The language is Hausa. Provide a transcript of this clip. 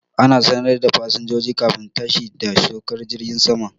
Ana sanar da fasinjojin kafin tashi da saukar jirgin saman